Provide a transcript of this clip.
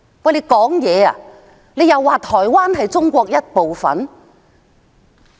不是說台灣是中國的一部分嗎？